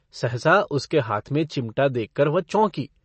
सहसा उसके हाथ में चिमटा देखकर वह चौंकी।